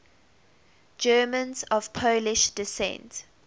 germans of polish descent